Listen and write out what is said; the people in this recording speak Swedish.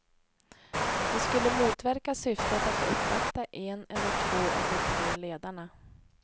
Det skulle motverka syftet att uppvakta en eller två av de tre ledarna.